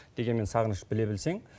дегенмен сағыныш біле білсең